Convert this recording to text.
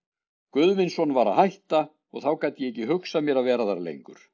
Guðvinsson var að hætta, og þá gat ég ekki hugsað mér að vera þar lengur.